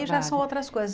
Aí já são outras coisas.